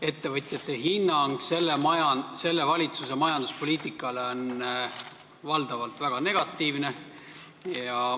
Ettevõtjate hinnang selle valitsuse majanduspoliitikale on valdavalt väga negatiivne.